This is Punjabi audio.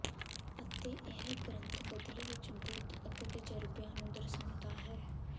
ਅਤੇ ਇਹ ਗ੍ਰੰਥ ਬਦਲੇ ਵਿਚ ਬੁੱਧ ਅਤੇ ਤਜ਼ਰਬਿਆਂ ਨੂੰ ਦਰਸਾਉਂਦਾ ਹੈ